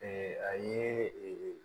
a ye